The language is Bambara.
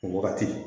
O wagati